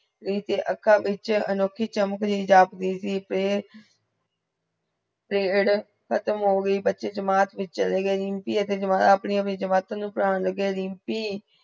ਵਿਚ ਅੱਖਾਂ ਵਿਚ ਅਨੋਖੀ ਚਮਕ prayer ਖਤਮ ਹੋ ਗਈ ਬਚੇ ਚਮਟ ਵਿਚ ਚਲੇ ਗਏ ਅਪਨੀ ਅਪਨੀ ਚਮਟਾ ਪੱਰਾਂ ਲਗੇ ਰੀਮਪੀ